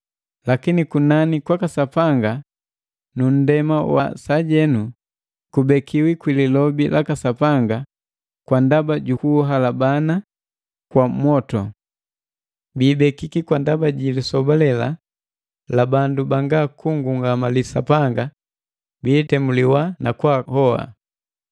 Lakini kunani kwaka Sapanga nu nndema wa sajenu kubekiwi kwi lilobi laka Sapanga kwa ndaba jukuhalabana kwa mwotu. Biibekiki kwa ndaba ji lisoba lela la bandu banga kungungamali Sapanga biitemuliwa na kwaahoba.